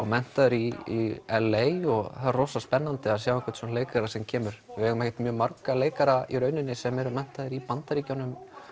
menntaður í l a og það er rosa spennandi að sjá svona leikara sem kemur við eigum ekkert marga leikara sem eru menntaðir í Bandaríkjunum